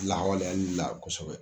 la kosɛbɛ.